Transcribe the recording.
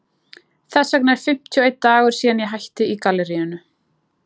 Þess vegna er fimmtíu og einn dagur síðan ég hætti í galleríinu.